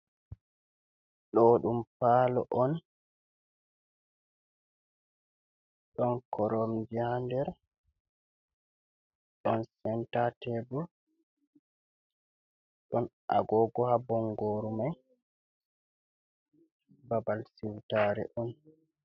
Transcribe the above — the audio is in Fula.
Ɗoo ɗum paalo on, ɗon koromje haa nder, ɗon senta teebur ,ɗon agoogo, haa bonngooru may, babal siwtaare on.